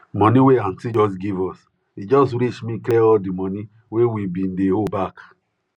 money wey aunty just give us e just reach me clear all the money wey we bin dey owe bak